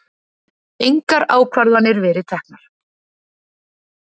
Engar ákvarðanir verið teknar